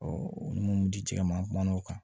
ni mun di jɛgɛ ma an kumana o kan